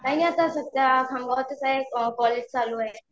काही नाही सध्या खामगावातच आहे कॉलेज चालू आहे.